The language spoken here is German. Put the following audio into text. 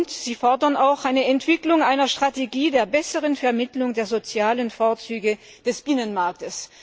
Ferner fordern Sie die Entwicklung einer Strategie zur besseren Vermittlung der sozialen Vorzüge des Binnenmarkts.